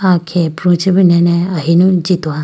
aah khege pru chibi nene ahinu jitoha.